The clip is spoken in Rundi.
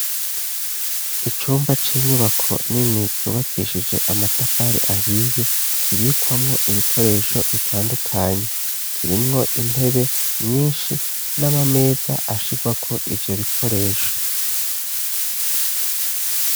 Icumba c'inyubako nini cubakishije amatafari ahiye, kibikwamo ibikoresho bitandukanye, kirimwo intebe nyinshi n'amameza ashirwako ivyo bikoresho.